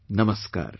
Namaskar